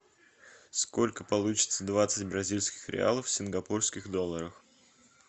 сколько получится двадцать бразильских реалов в сингапурских долларах